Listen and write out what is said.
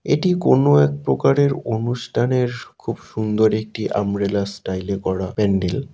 এটি কোন এক প্রকারের অনুষ্ঠানের খুব সুন্দর একটি আমব্রেলা স্টাইলে করা প্যান্ডেল।